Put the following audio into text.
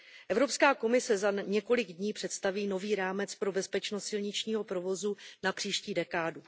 Evropská komise za několik dní představí nový rámec pro bezpečnost silničního provozu na příští dekádu.